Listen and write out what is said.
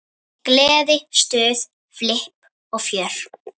Gleði, stuð, flipp og fjör.